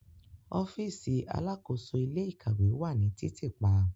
Ọfiisi alakoso ile-ikawe wa ni titiipa